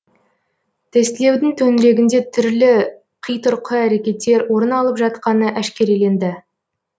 тестілеудің төңірегінде түрлі қитұрқы әрекеттер орын алып жатқаны әшкереленді